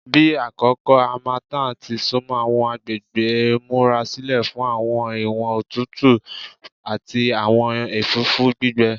Bi akoko harmattan ti sunmọ, awọn agbegbe n murasilẹ fun awọn iwọn otutu tutu ati awọn ẹfũfu gbigbẹ